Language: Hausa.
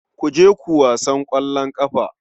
Ku je ku wasan ƙwallon ƙafa.